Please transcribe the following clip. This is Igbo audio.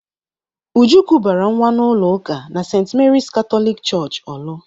Uju kubara nwa n'ụlọ ụka na St. Mary's Catholic Church Orlu.